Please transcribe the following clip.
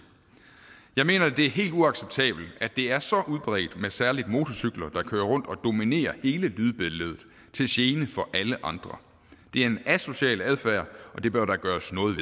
jeg mener det er helt uacceptabelt at det er så udbredt med særlig motorcykler der kører rundt og dominerer hele lydbilledet til gene for alle andre det er en asocial adfærd og det bør der gøres noget